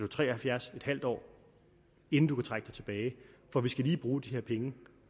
tre og halvfjerds år inden du kan trække dig tilbage for vi skal lige bruge de her penge